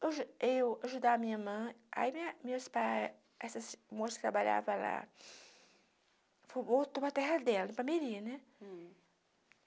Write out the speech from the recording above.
Eu ju eu ajudava a minha irmã, aí minha meus pais, essa moça que trabalhava lá, voltou para terra dela, Ipalmeri né.